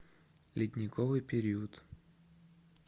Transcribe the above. ледниковый период